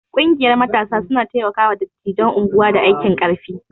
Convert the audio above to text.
Ƙungiyar matasa suna taimaka wa dattijan unguwa da aikin ƙarfi